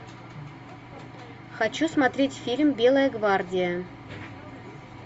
хочу смотреть фильм белая гвардия